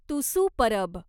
Tusu Parab